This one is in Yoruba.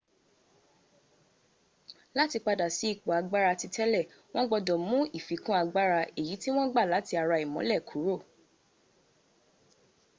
láti padà sí ipò agbára titélè wọn gbọdọ̀ mú ìfikún agbára èyí tí wọn gba láti ara ìmólẹ̀ kúrò